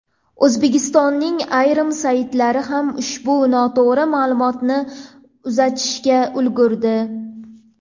O‘zbekistonning ayrim saytlari ham ushbu noto‘g‘ri ma’lumotni uzatishga ulgurdi.